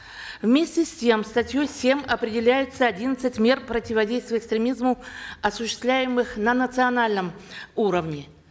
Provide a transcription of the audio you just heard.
вместе с тем статьей семь определяется одиннадцать мер противодействия экстремизму осуществляемых на национальном уровне